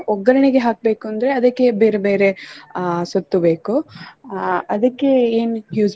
ಒಗ್ಗರ್ಣೆಗೆ ಹಾಕ್ಬೇಕುಂದ್ರೆ ಅದಕ್ಕೆ ಬೇರೆ ಬೇರೆ ಅಹ್ ಸೊತ್ತು ಬೇಕು ಅಹ್ ಅದಕ್ಕೆ ಏನ್ use .